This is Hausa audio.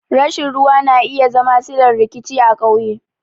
Rashin ruwa na iya zama sillar rikici a ƙauye.